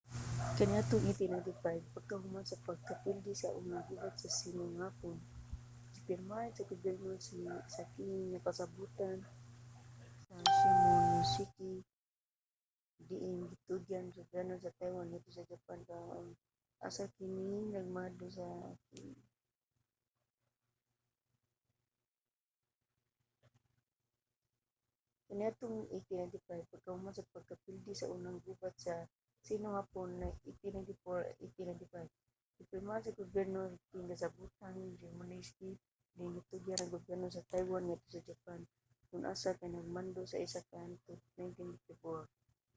kaniadtong 1895 pagkahuman sa pagkapildi sa unang gubat sa sino-hapon 1894-1895 gipirmahan sa gobyerno sa qing ang kasabotan sa shimonoseki diin gitugyan ang soberanya sa taiwan ngadto sa japan kon asa kini kay nagmando sa isla hangtod sa tuig 1945